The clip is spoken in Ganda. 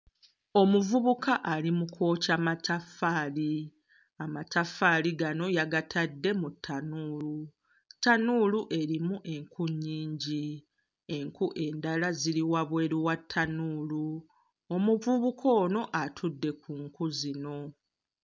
Omuvubuka ali mu kwokya mataffaali. Amataffaali gano yagatadde mu ttanuulu, ttanuulu erimu enku nnyingi, enku endala ziri wabweru wa ttanuulu, omuvubuka ono atudde ku nku zino.